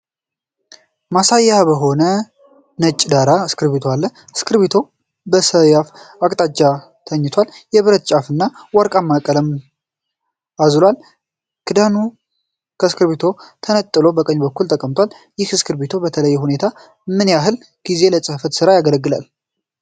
ማሳያ በሆነ ነጭ ዳራ እስክርቢቶ አለ። እስክርቢቶው በሰያፍ አቅጣጫ ተኝቷል፣ የብረት ጫፉና ወርቃማው ቀለም አዝሏል፣ ሰማያዊው ክዳን ከእስክርቢቶው ተነቅሎ ከቀኝ በኩል ተቀምጧል፤ ይህ እስክርቢቶ በተለየ ሁኔታ ምን ያህል ጊዜ ለጽሕፈት ስራ ያገለግላል?